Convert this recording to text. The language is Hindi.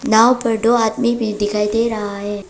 नाव पर दो आदमी भी दिखाई दे रहा है।